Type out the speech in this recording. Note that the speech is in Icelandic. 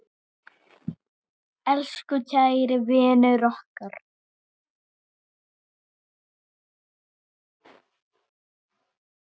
Elsku kæri vinur okkar.